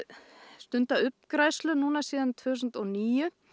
stunduð uppgræðsla síðan tvö þúsund og níu